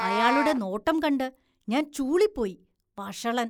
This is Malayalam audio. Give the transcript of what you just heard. അയാളുടെ നോട്ടം കണ്ട് ഞാന്‍ ചൂളിപ്പോയി, വഷളന്‍.